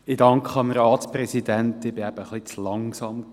Ich danke dem Ratspräsidenten, ich war etwas zu langsam.